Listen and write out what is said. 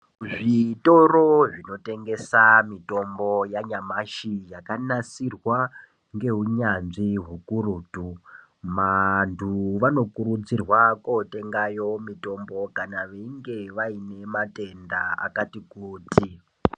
Zvitoro zvinotengese mitombo yanyamashi yakanasirwa ngeunyanzvi hukurutu, vantu vanokurudzirwa kotengayo mitombo kana veinge vainematenda akatikuti.